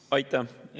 Aitäh!